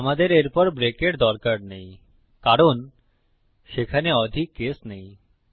আমাদের এরপর ব্রেকের দরকার নেই কারণ সেখানে অধিক কেস নেই